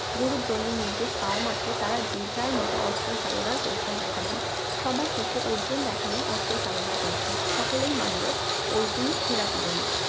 গুরু ্দ্রোনের নির্দেশ পাওয়া মাত্র তারা যে যার মত অস্ত্র চালানোর কৌশল দেখালেন সবার শেষে অর্জুন দেখালেন অস্ত্র চালনার কৌশল সকলেই মানলো অর্জুনই সেরা তীরন্দাজ